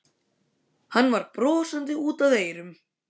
Hann var brosandi út að eyrum.